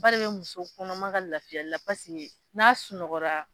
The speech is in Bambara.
Ba de be muso kɔnɔma ka lafiyali la paseke n'a sunɔgɔra